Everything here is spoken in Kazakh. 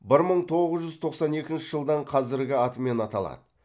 бір мың тоғыз жүз тоқсан екінші жылдан қазіргі атымен аталады